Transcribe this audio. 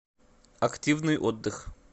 активный отдых